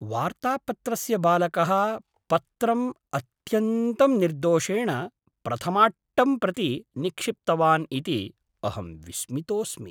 वार्तापत्रस्य बालकः पत्रम् अत्यन्तं निर्दोषेण प्रथमाट्टं प्रति निक्षिप्तवान् इति अहं विस्मितोऽस्मि।